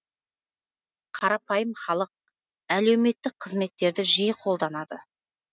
қарапайым халық әлеуметтік қызметтерді жиі қолданады